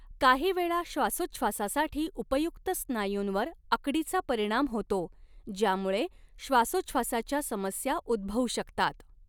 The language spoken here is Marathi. काहीवेळा श्वासोच्छवासासाठी उपयुक्त स्नायूंवर आकडीचा परिणाम होतो, ज्यामुळे श्वासोच्छवासाच्या समस्या उद्भवू शकतात.